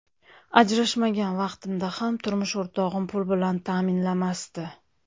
Ajrashmagan vaqtimda ham turmush o‘rtog‘im pul bilan ta’minlamasdi.